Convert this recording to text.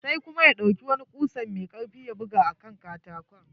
Sai kuma ya ɗauki wani kusa mai karfi ya buga a katakon.